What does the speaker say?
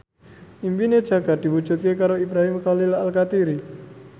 impine Jaka diwujudke karo Ibrahim Khalil Alkatiri